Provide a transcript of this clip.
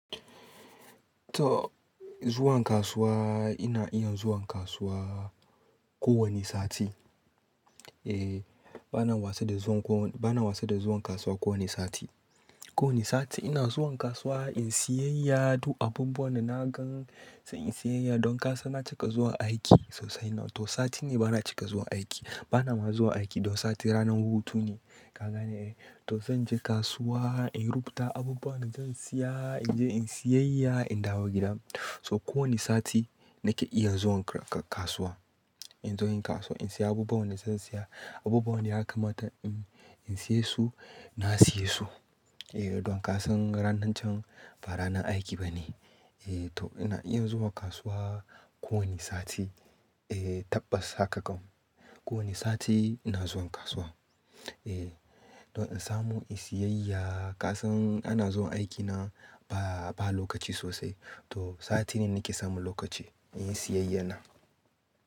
To zuwan kasuwa ina iya zuwan kasuwa ko wane sati. Eh bana wasa da zuwan ko, bana wasa da zuwan kasuwa ko wane sati. Ko wane sati ina zuwan kasuwa in siyyaya duk abubuwan da na gan sai in siyyaya don ka san na cika zuwa aiki sosai nan to sati ne bana cika zuwa aiki. Bana ma zuwa aiki don sati ranar hutu ne. Ka gane eh? To zan je kasuwa in rubuta abubuwan da zan siya in je in siyyaya in dawo gida. So ko wane sati nake iya zuwan ka-kasuwa. In zo yin kasuwa in siya abubuwan da zan siya abubuwan da ya kamata in, in siya su na siya su. Eh don ka san ranan can ba ranan aiki ba ne. Eh to ina iya zuwa kasuwa ko wane sati. Eh tabbas haka kam. Ko wane sati ina zuwan kasuwa. Eh don in samu in siyyaya. Ka san ana zuwan aiki na ba, ba lokaci sosai to sati ne nake samun lokaci in yi siyayya na.